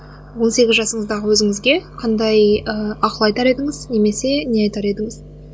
он сегіз жасыңыздағы өзіңізге қандай ы ақыл айтар едіңіз немесе не айтар едіңіз